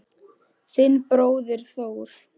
Þinn bróðir Þór.